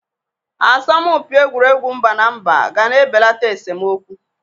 Asọmpị egwuregwu mba na mba ga na-ebelata esomokwu.